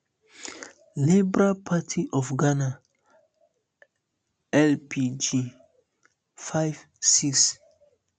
liberal party of ghana lpg five six